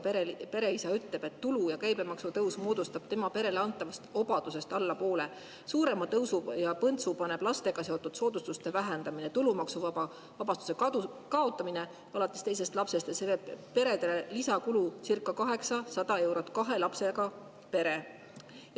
Kahe lapsega pere isa ütleb, et tulu‑ ja käibemaksu tõus moodustab tema perele antavast obadusest alla poole, suurema põntsu paneb lastega seotud soodustuste vähendamine, tulumaksuvabastuse kaotamine alates teisest lapsest ja see teeb perele lisakulu circa 800 eurot, kahe lapsega pere.